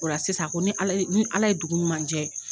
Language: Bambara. Ola sisan ko ni Ala ye ni Ala ye dugu ɲuman jɛ.